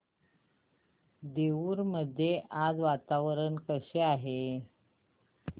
देऊर मध्ये आज वातावरण कसे आहे